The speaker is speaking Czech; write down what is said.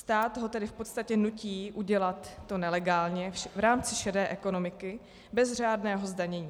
Stát ho tedy v podstatě nutí udělat to nelegálně v rámci šedé ekonomiky bez řádného zdanění.